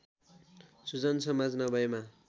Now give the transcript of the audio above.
सुजन समाज नभएमा